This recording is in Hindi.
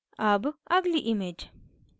अब अगली image